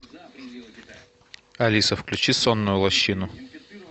алиса включи сонную лощину